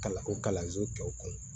Kalan o kalanso tɔw kɔnɔ